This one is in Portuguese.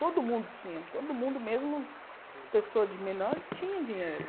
Todo mundo tinha, todo mundo mesmo, pessoa de menor tinha dinheiro.